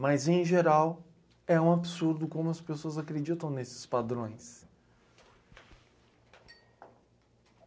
Mas, em geral, é um absurdo como as pessoas acreditam nesses padrões.